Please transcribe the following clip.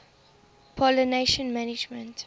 pollination management